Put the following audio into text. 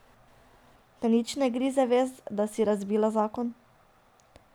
Te nič ne grize vest, da si razbila zakon?